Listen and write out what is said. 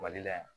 Mali la yan